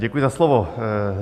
Děkuji za slovo.